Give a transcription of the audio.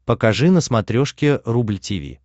покажи на смотрешке рубль ти ви